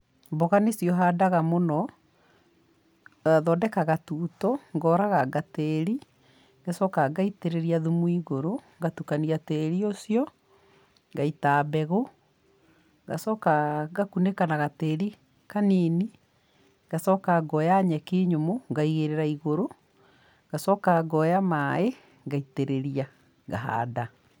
Mboga nĩcio handaga mũno, thondekaga tuto, ngoraganga tĩĩri, ngacoka ngaitĩrĩria thumu igũrũ, ngatukania tĩĩri ũcio, ngaita mbegũ, ngacoka ngakũnĩka na gatĩĩri kanini, ngacoka ngoya nyeki nyũmũ ngaigĩrira igũrũ, ngacoka ngoya maaĩ, ngaitĩrĩria, ngahanda.